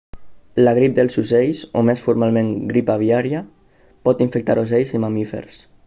la grip dels ocells o més formalment grip aviària pot infectar ocells i mamífers